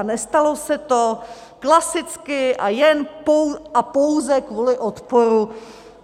A nestalo se to, klasicky a jen a pouze kvůli odporu